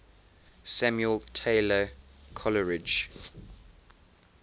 samuel taylor coleridge